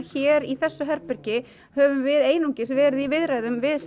hér í þessu herbergi höfum við einungis verið í viðræðum við s